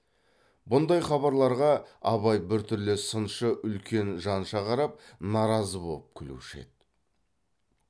бұндай хабарларға абай біртүрлі сыншы үлкен жанша қарап наразы боп күлуші еді